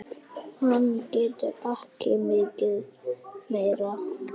Hann getur ekki mikið meir.